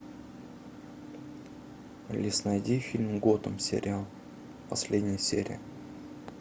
алиса найди фильм готэм сериал последняя серия